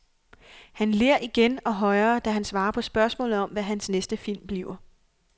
Han ler igen og højere, da han svarer på spørgsmålet om, hvad hans næste film bliver.